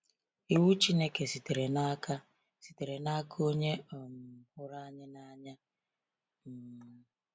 Iwu Chineke sitere n’aka sitere n’aka Onye um hụrụ anyị n’anya. um